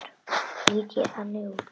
Lít ég þannig út?